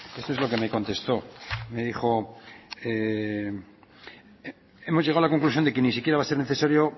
esto es lo que me contestó me dijo hemos llegado a la conclusión de que ni siquiera va a ser necesario